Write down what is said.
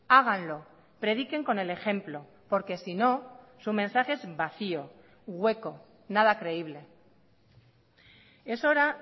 háganlo prediquen con el ejemplo porque si no su mensaje es vacío hueco nada creíble es hora